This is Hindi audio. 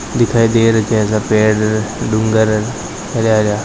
दिखाई दे रखिया है सा पेड़ डूंगर --